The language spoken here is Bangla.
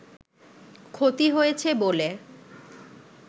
ক্ষতি হয়েছে বলে